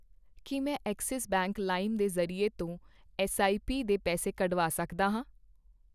ਕੀ ਮੈਂ Axis bank ਲਾਇਮ ਦੇ ਜ਼ਰੀਏ ਤੋਂ ਐੱਸਆਈਪੀ ਦੇ ਪੈਸੇ ਕੱਢਵਾ ਸਕਦਾ ਹਾਂ ?